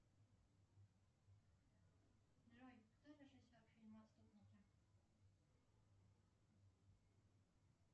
джой кто режиссер фильма отступники